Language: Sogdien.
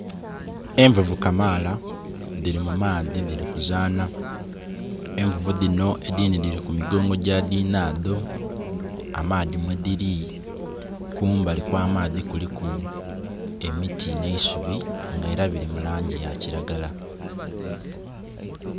Envuvu kamaala dhiri mu maadhi dhiri kuzaana, Envuvu dhino edhindhi dhiri ku migongo gya dhiinado. Amaadhi mwediri, kumbali okw'amaadhi kuliku emiti n'eisubi nga era biri mu langi ya kiragala.